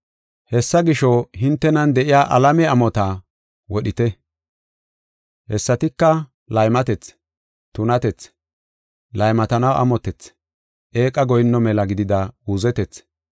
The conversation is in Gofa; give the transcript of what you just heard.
Hessa gisho, hintenan de7iya alame amotta wodhite. Hessatika laymatethi, tunatethi, laymatanaw amotethi, eeqa goyinno mela gidida uuzetethi.